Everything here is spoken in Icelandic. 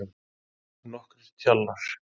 Nokkrir tjallar.